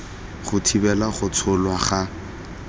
go thibela go tsholwa ga